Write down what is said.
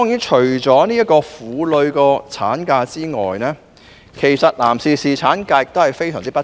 除了婦女的產假外，其實男士侍產假亦非常不足。